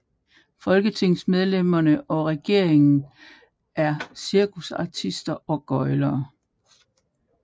Folketingsmedlemmerne og regeringen er cirkusartister og gøglere